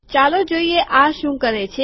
ચાલો જોઈએ આ શું કરે છે